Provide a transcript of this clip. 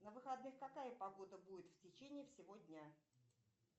на выходных какая погода будет в течении всего дня